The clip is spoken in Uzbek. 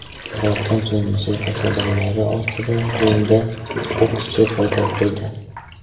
Birozdan so‘ng musiqa sadolari ostida ringda bokschi paydo bo‘ldi.